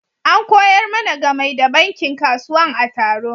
An koyar mana gamai da bankin kasuwan a taro.